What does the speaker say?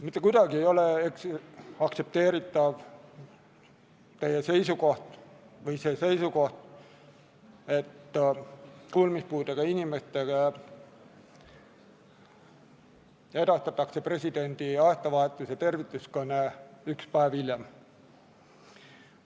Mitte kuidagi ei ole aktsepteeritav seisukoht, et kuulmispuudega inimestele edastatakse presidendi aastavahetuse tervituskõne üks päev hiljem.